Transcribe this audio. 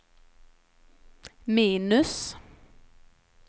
minus